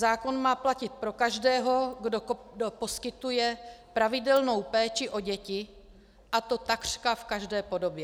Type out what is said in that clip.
Zákon má platit pro každého, kdo poskytuje pravidelnou péči o děti, a to takřka v každé podobě.